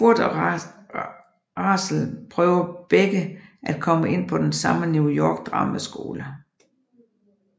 Kurt og Rachel prøver begger at komme ind på den samme New York drama skole